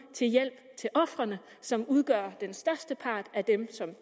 til hjælp til ofrene som udgør den største part af dem som